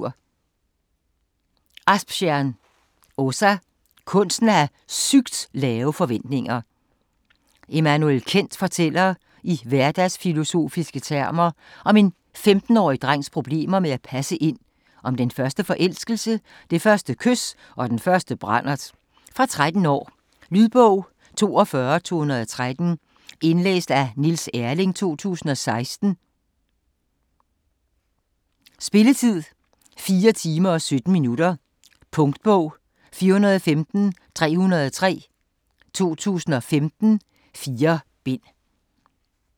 Asptjärn, Åsa: Kunsten at have sygt lave forventninger Emanuel Kent fortæller i hverdagsfilosofiske termer om en femtenårig drengs problemer med at passe ind, om den første forelskelse, det første kys og den første brandert. Fra 13 år. Lydbog 42213 Indlæst af Niels Erling, 2016. Spilletid: 4 timer, 17 minutter. Punktbog 415303 2015. 4 bind.